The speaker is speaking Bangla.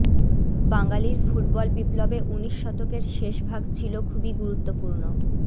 বাঙালির ফুটবল বিপ্লবে উনিশ শতকের শেষভাগ ছিলো খুবই গুরুত্বপূর্ণ